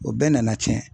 O bɛɛ nana tiɲɛ